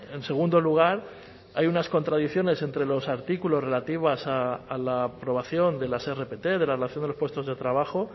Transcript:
en segundo lugar hay unas contradicciones entre los artículos relativas a la aprobación de las rpt de la relación de los puestos de trabajo